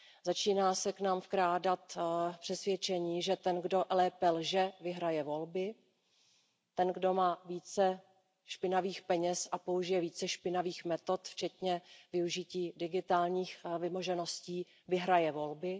Začíná se k nám vkrádat přesvědčení, že ten, kdo lépe lže, vyhraje volby, ten, kdo má více špinavých peněz a použije více špinavých metod, včetně využití digitálních vymožeností, vyhraje volby.